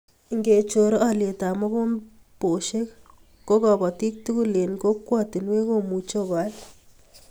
Ngechor olyetab mogombesiek ko kobotik tugul eng kokwatinwek komuchi koal